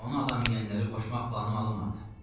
Onu adam yeyənlərə qoşmaq planım alınmadı.